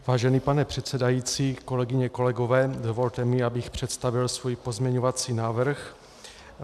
Vážený pane předsedající, kolegyně, kolegové, dovolte mi, abych představil svůj pozměňovací návrh.